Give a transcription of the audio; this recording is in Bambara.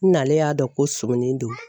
N'ale y'a dɔn ko sumunin don.